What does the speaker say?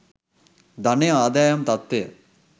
ධනය ආදායම් තත්ත්වය